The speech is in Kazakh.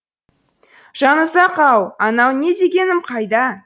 жанұзақ ау анау не дегенім қайда